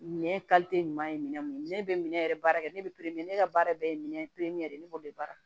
Ɲɛ ɲuman ye minɛn mun ne be minɛ yɛrɛ baara kɛ ne be ne ka baara bɛɛ ye minɛ ye de ne b'o de baara